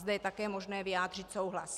Zde je také možné vyjádřit souhlas.